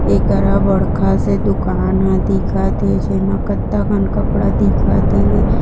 ए करा बड़खा से दुकान ह दिखत हे जेमा कत्ता कन कपड़ा दिखत हे।